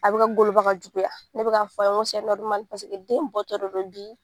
A bɛ ka goloba ka juguya ne bɛka f'a ye n ko paseke den bɔtɔ de do bi.